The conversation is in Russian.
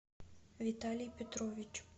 виталий петрович